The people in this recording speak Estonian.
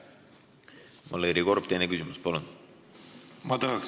Valeri Korb, teine küsimus, palun!